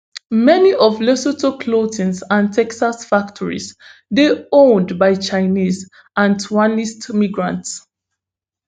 many of lesotho clothing and textile factories dey owned by chinese and taiwanese migrants